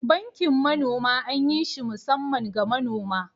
Bankin manoma anyi shi musaman ga manoma